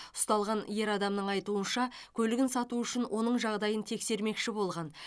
ұсталған ер адамның айтуынша көлігін сату үшін оның жағдайын тексермекші болған